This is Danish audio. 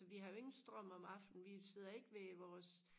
altså vi har jo ingen strøm om aftenen vi sidder ikke ved vores